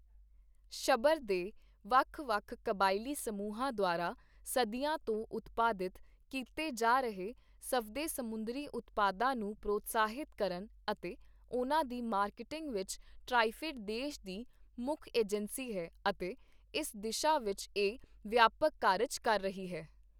ਸ਼ਭਰ ਦੇ ਵੱਖ ਵੱਖ ਕਬਾਇਲੀ ਸਮੂਹਾਂ ਦੁਆਰਾ ਸਦੀਆਂ ਤੋਂ ਉਤਪਾਦਿਤ ਕੀਤੇ ਜਾ ਰਹੇ ਸਵਦੇ ਸਮੁੰਦਰੀ ਉਤਪਾਦਾਂ ਨੂੰ ਪ੍ਰੋਤਸਾਹਿਤ ਕਰਨ ਅਤੇ ਉਨ੍ਹਾਂ ਦੀ ਮਾਰਕੀਟਿੰਗ ਵਿੱਚ ਟ੍ਰਇਫੇਡ ਦੇਸ਼ ਦੀ ਮੁੱਖ ਏਜੰਸੀ ਹੈ ਅਤੇ ਇਸ ਦਿਸ਼ਾ ਵਿੱਚ ਇਹ ਵਿਆਪਕ ਕਾਰਜ ਕਰ ਰਹੀ ਹੈ।